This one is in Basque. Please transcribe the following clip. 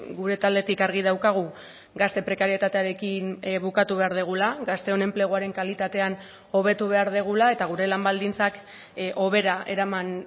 gure taldetik argi daukagu gazte prekarietatearekin bukatu behar dugula gazteon enpleguaren kalitatean hobetu behar dugula eta gure lan baldintzak hobera eraman